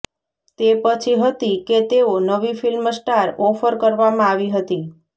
તે પછી હતી કે તેઓ નવી ફિલ્મ સ્ટાર ઓફર કરવામાં આવી હતી